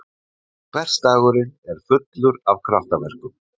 Hversdagurinn er fullur af kraftaverkum!